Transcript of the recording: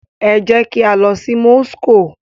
Ẹ jẹ kí a lọ Moscow!